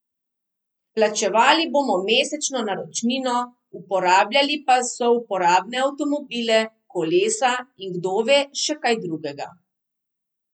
Plačevali bomo mesečno naročnino, uporabljali pa souporabne avtomobile, kolesa in kdo ve še kaj drugega?